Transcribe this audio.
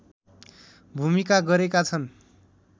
भूमिका गरेका छन्